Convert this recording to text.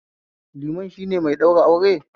Liman shine mai ɗaura aure